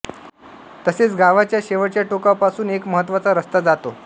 तसेच गावाच्या शेवटच्या टोकापासून एक महत्वाचा रस्ता जातो